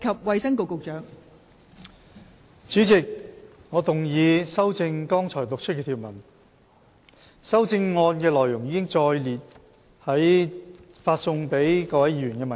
代理主席，我動議修正剛讀出的條文。修正案的內容載列於已發送給各位議員的文件中。